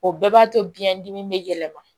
O bɛɛ b'a to biɲɛ dimi bɛ yɛlɛma